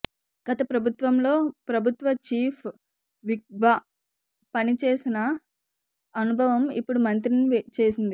గత ప్రభుత్వంలో ప్రభుత్వ చీఫ్ విప్గా పని చేసిన అనుభవం ఇప్పుడు మంత్రిని చేసింది